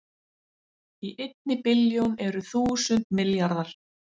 Í einni billjón eru þúsund milljarðar